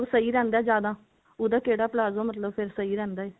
ਸਹੀ ਰਹਿੰਦਾ ਜਿਆਦਾ ਉਹਦਾ ਕਿਹੜਾ palazzo ਫੇਰ ਮਤਲਬ ਸਹੀ ਰਹਿੰਦਾ ਹੈ